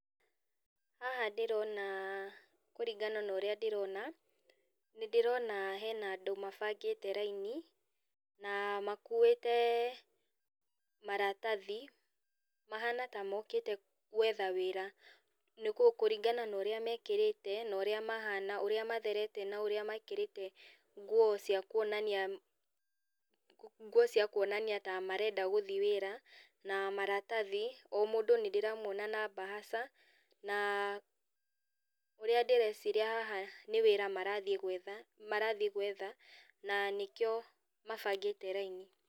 Haha ndĩrona kũringana na ũrĩa ndĩrona, nĩndĩrona hena andũ mabangĩte raini, na makuĩte maratathi, mahana tamokĩte gwetha wĩra, nĩ kũringana na ũrĩa mekĩrĩte na ũrĩa mahana ũrĩa matherete na ũrĩa mekĩrĩte nguo cĩa kuonania nguo cia kuonania ta marenda gũthiĩ wĩra, na maratathi, o mũndũ nĩndĩramwona na mbahaca, na ũrĩa ndĩreciria haha nĩ wĩra marathiĩ gwetha, marathiĩ gwetha na nĩkĩo mabangĩte raini.